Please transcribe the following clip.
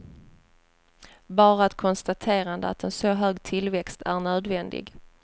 Bara ett konstaterande att en så hög tillväxt är nödvändig.